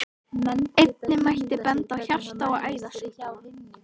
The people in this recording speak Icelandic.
Einnig mætti benda á hjarta- og æðasjúkdóma.